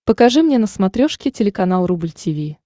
покажи мне на смотрешке телеканал рубль ти ви